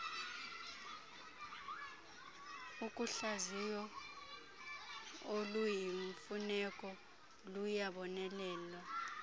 uhlaziyo oluyimfuneko luyabonelelwa